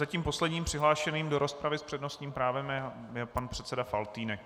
Zatím posledním přihlášeným do rozpravy s přednostním právem je pan předseda Faltýnek.